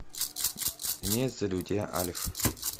имеется ли у тебя альф